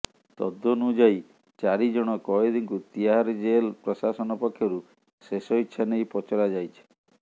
ତଦ୍ନୁଯାୟୀ ଚାରି ଜଣ କଏଦୀଙ୍କୁ ତିହାରି ଜେଲ ପ୍ରଶାସନ ପକ୍ଷରୁ ଶେଷଇଚ୍ଛା ନେଇ ପଚରାଯାଇଛି